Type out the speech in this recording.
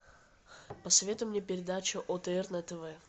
посоветуй мне передачу отр на тв